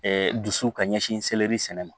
Ɛɛ dusu ka ɲɛsin seleri sɛnɛ ma